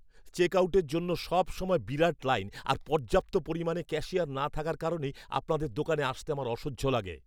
চেকআউটের জন্য সবসময় বিরাট লাইন আর পর্যাপ্ত পরিমাণে ক্যাশিয়ার না থাকার কারণেই আপনাদের দোকানে আসতে আমার অসহ্য লাগে।